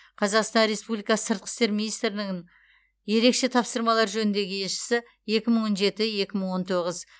қазақстан республикасы сыртқы істер министрінің ерекше тапсырмалар жөніндегі елшісі екі мың он жеті екі мың он тоғыз